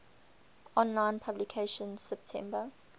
online publication september